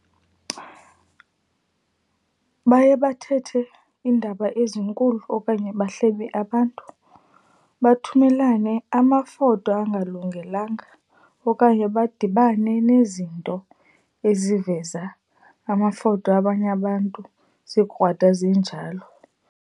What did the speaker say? Baye bathethe iindaba ezinkulu okanye bahlebe abantu, bathumelane amafoto angalungelanga okanye badibane nezinto eziveza amafoto abanye abantu zikrwada zinjalo.